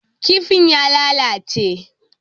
Kifin ya lalace.